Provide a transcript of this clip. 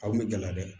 Aw bɛ gala dɛ